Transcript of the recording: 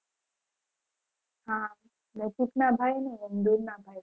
હા નજીક ભાઈ ની દુર ના ભાઈ